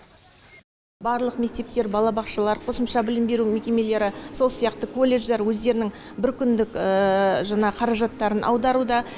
барлық мектептер балабақшалар қосымша білім беру мекемелері сол сияқты колледждар өздерінің бір күндік жаңағы қаражаттарын аударуда